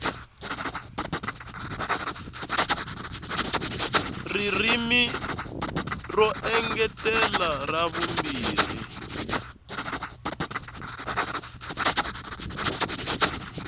ririmi ro engetela ra vumbirhi